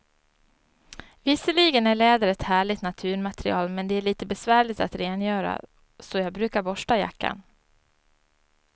Visserligen är läder ett härligt naturmaterial, men det är lite besvärligt att rengöra, så jag brukar borsta jackan.